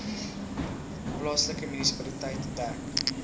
plaaslike munisipaliteit dek